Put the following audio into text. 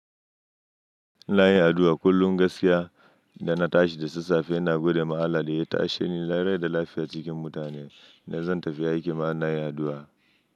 Ina yin addu'a kullum ga gaskiya idana tashi da sassafe, ina gode ma Allah da ya tashe ni rai da lafiya cikin mutane. Ina zan tafi aiki ma ina yin addu'a.